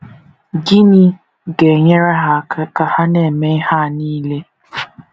Gịnị ga - enyere ha aka ka ha na - eme ihe a nile?